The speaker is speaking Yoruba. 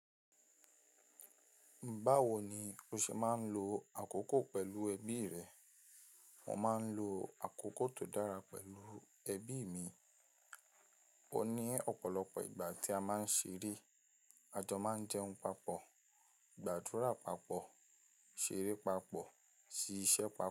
"Báwo ni o ṣe máa ń lo àkókò pẹ̀lú ẹbí rẹ?" Wọ́n máa ń lo àkókò tó dára pẹ̀lú ẹbí mi. Ó ní ọ̀pọ̀lọpọ̀ ìgbà tí a máa ń ṣeré, a jọ máa ń jẹun papọ̀, gbàdúrà papọ̀, ṣeré papọ̀, ṣíṣe papọ̀